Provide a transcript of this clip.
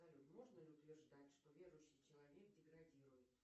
салют можно ли утверждать что верующий человек деградирует